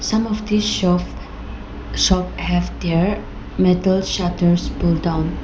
Some of this shop shop have their metal shutters pull down.